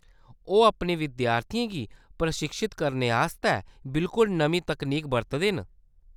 ओह्‌‌ अपने विद्यार्थियें गी प्रशिक्षत करने आस्तै बिल्कुल नमीं तकनीक बरतदे न।